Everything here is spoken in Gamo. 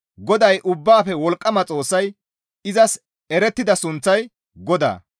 GODAY Ubbaafe Wolqqama Xoossay izas erettida sunththay GODAA.